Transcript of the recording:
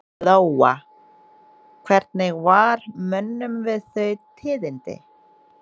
Lóa: Hvernig var mönnum við þau tíðindi?